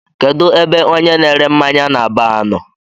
Kedụ ebe ọnye na -ere mmáñyá n'baar nọ?